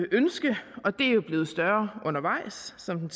ønske og det er jo blevet større undervejs som den